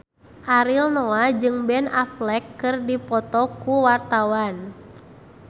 Ariel Noah jeung Ben Affleck keur dipoto ku wartawan